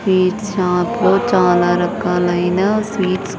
Sweets shop లో చాలా రకాలైన స్వీట్స్ .